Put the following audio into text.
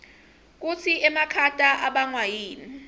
kutsi emakhata abangwa yini